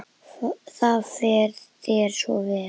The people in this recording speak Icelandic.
Það fer þér svo vel.